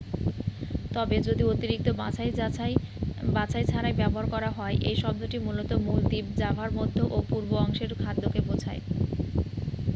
তবে যদি অতিরিক্ত বাছাই ছাড়াই ব্যবহার করা হয় এই শব্দটি মূলত মূল দ্বীপ জাভার মধ্য ও পূর্ব অংশের খাদ্যকে বোঝায়